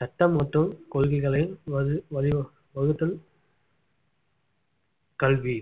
சட்டம் மற்றும் கொள்கைகளை வகு~ வழிவகு~ வகுத்தல் கல்வி